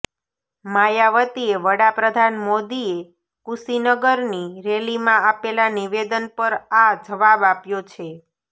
માયાવતીએ વડાપ્રધાન મોદીએ કુશીનગરની રેલીમાં આપેલાં નિવેદન પર આ જવાબ આપ્યો છે